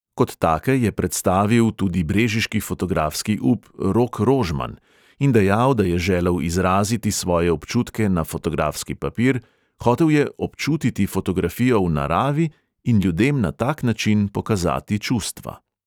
Kot take je predstavil tudi brežiški fotografski up rok rožman in dejal, da je želel izraziti svoje občutke na fotografski papir, hotel je občutiti fotografijo v naravi in ljudem na tak način pokazati čustva.